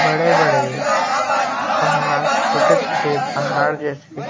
बड़े-बड़े पहाड़ छोटे -छोटे पहाड़ जैसॆ --